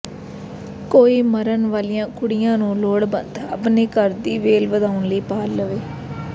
ਕੋਈ ਮਰਨ ਵਾਲੀਆਂ ਕੁੜੀਆਂ ਨੂੰ ਲੋੜ ਬੰਦ ਆਪਣੇ ਘਰ ਦੀ ਵੇਲ ਵਧਾਉਣ ਲਈ ਪਾਲ ਲਵੇ